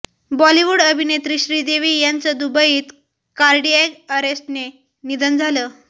बॉलिवूड अभिनेत्री श्रीदेवी यांचं दुबईत कार्डिअॅक अरेस्टने निधन झालं